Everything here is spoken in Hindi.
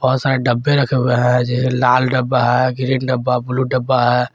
बहुत सारे डब्बे रखे हुए हैं जैसे लाल डब्बा है ग्रीन डब्बा ब्ल्यू डब्बा है।